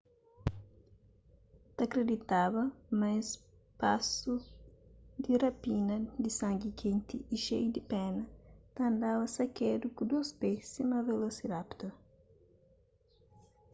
ta kriditada ma es pasu di rapina di sangi kenti y xeiu di pena ta andaba sakedu ku dôs pé sima velosirapitor